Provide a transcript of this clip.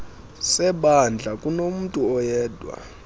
sebandla kunomntu oyedwa